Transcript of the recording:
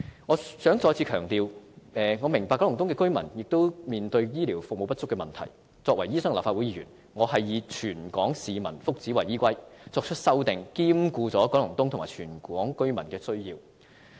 我想再次強調，我明白九龍東居民亦面對醫療服務不足的問題，但作為醫生和立法會議員，我是以全港市民的福祉為依歸，作出的修訂亦兼顧了九龍東和全港居民的需要。